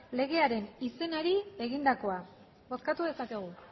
legearen izenari egindakoa bozkatu dezakegu